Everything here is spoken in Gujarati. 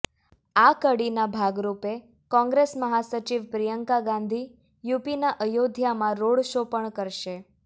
આ કડીના ભાગરૂપે કોંગ્રેસ મહાસચિવ પ્રિયંકા ગાંધી યુપીના અયોધ્યામાં રોડ શો પણ કરશે